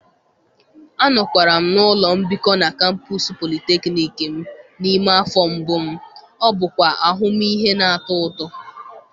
Anọkwara m na ụlọ mbikọ na kampos polytechnic m n'ime afọ mbụ m, ọ bụkwa ahụmịhe na-atọ ụtọ.